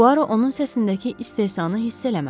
Puaro onun səsindəki istehzanı hiss eləmədi.